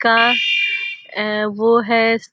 का अ वो है|